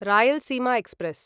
Rayalaseema express